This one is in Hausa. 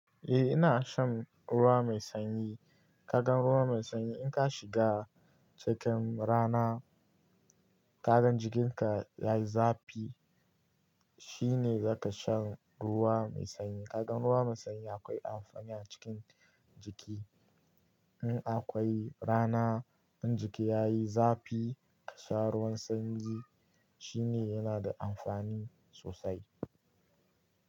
Eh ina shan ruwa mai sanyi. Kaga ruwa mai sanyi in ka shiga cikin rana, kagan jikinka yayi zafi, shine zaka sha ruwa mai sanyi. Kaga ruwa mai sanyi akwai amfani a cikin jiki. In akwai rana, in jiki ya yi zafi, ka sha ruwan sanyi shine yana da amfani sosai.